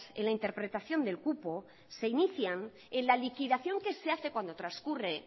en la interpretación del cupo se inician en la liquidación que se hace cuando transcurre